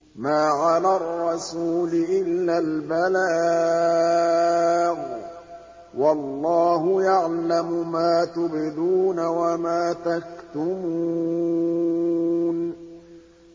مَّا عَلَى الرَّسُولِ إِلَّا الْبَلَاغُ ۗ وَاللَّهُ يَعْلَمُ مَا تُبْدُونَ وَمَا تَكْتُمُونَ